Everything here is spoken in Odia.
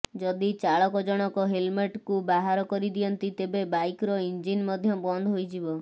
ଯଦି ଚାଳକ ଜଣକ ହେଲମେଟକୁ ବାହାର କରିଦିଅନ୍ତି ତେବେ ବାଇକର ଇଂଜିନ ମଧ୍ୟ ବନ୍ଦ ହୋଇଯିବ